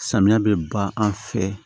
Samiya bɛ ban an fɛ